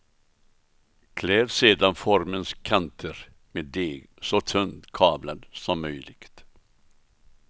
Kläd sedan formens kanter med deg, så tunt kavlad som möjligt.